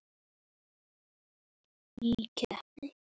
Ég ákvað að gera það.